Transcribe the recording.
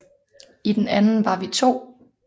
I den anden var vi to